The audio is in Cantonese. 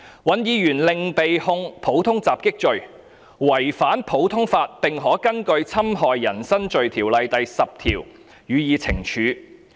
尹議員另被控'普通襲擊'罪，違反普通法並可根據《侵害人身罪條例》第40條予以懲處。